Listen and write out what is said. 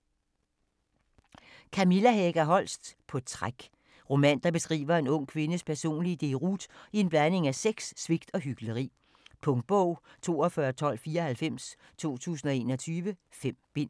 Holst, Kamilla Hega: På træk Roman, der beskriver en ung kvindes personlige deroute i en blanding af sex, svigt og hykleri. Punktbog 421294 2021. 5 bind.